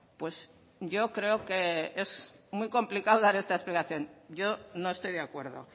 pues yo creo que es muy complicado dar esta explicación yo no estoy de acuerdo